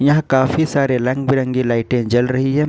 यहां काफी सारे रंग बिरंगी लाइटें जल रही है।